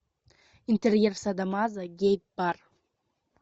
интерьер садо мазо гей бар